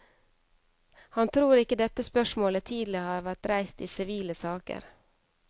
Han tror ikke dette spørsmålet tidligere har vært reist i sivile saker.